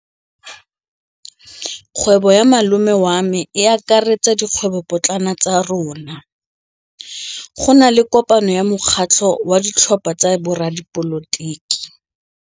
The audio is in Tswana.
Kgwêbô ya malome wa me e akaretsa dikgwêbôpotlana tsa rona. Go na le kopanô ya mokgatlhô wa ditlhopha tsa boradipolotiki.